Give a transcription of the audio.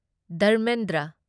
Dharmendra